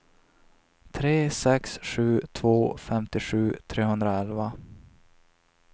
tre sex sju två femtiosju trehundraelva